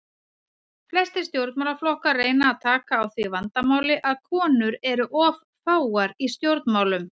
Flestir stjórnmálaflokkar reyna að taka á því vandamáli að konur eru of fáar í stjórnmálum.